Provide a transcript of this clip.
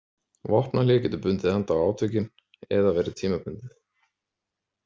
Vopnahlé getur bundið enda á átökin eða verið tímabundið.